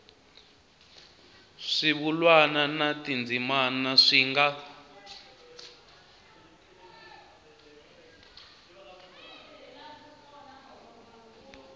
swivulwa na tindzimana swi nga